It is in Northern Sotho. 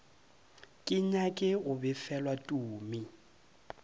ke nyake go befelwa tumi